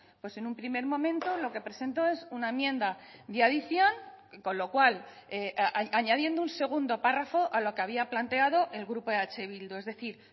pues en un primer momento lo que presentó es una enmienda de adición con lo cual añadiendo un segundo párrafo a lo que había planteado el grupo eh bildu es decir